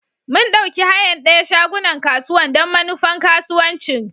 Mun ɗauki hayan dayan shagunan kasuwan don manufan kasuwanci.